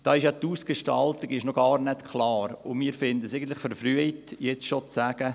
Da ist ja die Ausgestaltung noch gar nicht klar, und wir finden es eigentlich verfrüht, jetzt schon zu sagen: